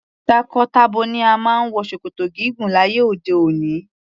Tako-tabo ni o máa ń wọ ṣòkòtò gígùn láyé òde òni.